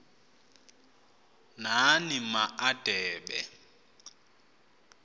nani ma adebe